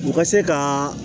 U ka se ka